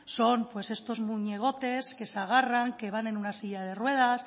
son pues estos muñecotes que se agarran que van en una silla de ruedas